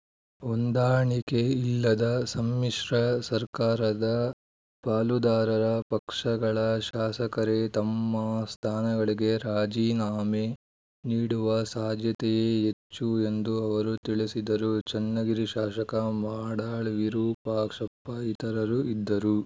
ಹೊಂದಾಣಿಕೆ ಇಲ್ಲದ ಸಮ್ಮಿಶ್ರ ಸರ್ಕಾರದ ಪಾಲುದಾರರ ಪಕ್ಷಗಳ ಶಾಸಕರೇ ತಮ್ಮ ಸ್ಥಾನಗಳಿಗೆ ರಾಜೀನಾಮೆ ನೀಡುವ ಸಾಧ್ಯತೆಯೇ ಹೆಚ್ಚು ಎಂದು ಅವರು ತಿಳಿಸಿದರು ಚನ್ನಗಿರಿ ಶಾಸಕ ಮಾಡಾಳ್‌ ವಿರೂಪಾಕ್ಷಪ್ಪ ಇತರರು ಇದ್ದರು